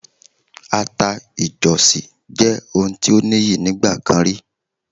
Àta ìjọ̀sì jẹ́ ohun tí ó níyì nígbà kan rí.